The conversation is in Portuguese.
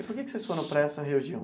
E por que que vocês foram para essa região?